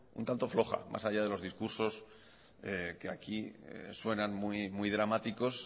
un tanto floja más allá de los discursos que aquí suenan muy dramáticos